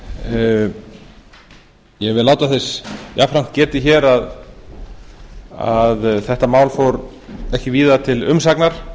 ég vil láta þess jafnframt getið hér að þetta mál fór ekki víða til umsagnar